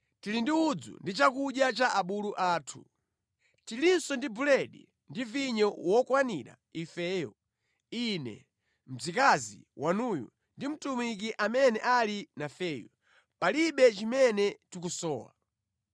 Tili ndi udzu ndi chakudya cha abulu athu. Tilinso ndi buledi ndi vinyo wokwanira ifeyo: ine, mdzakazi wanuyu, ndi mtumiki amene ali nafeyu. Palibe chimene tikusowa.”